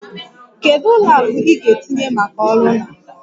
Kedu ụlọ akụ ị ga-etinye maka ọrụ na?